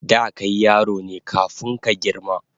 Da kai yaro ne kafun ka girma